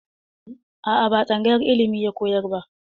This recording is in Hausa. A'a, ba a tsangayar ilimi ya koyar ba.